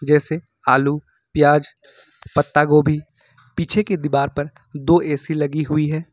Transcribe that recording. जैसे आलू प्याज पत्ता गोभी पीछे की दीवार पर दो ए_सी लगी हुई है।